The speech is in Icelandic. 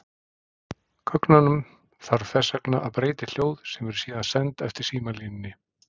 Gögnunum þarf þess vegna að breyta í hljóð sem eru síðan send eftir símalínunni.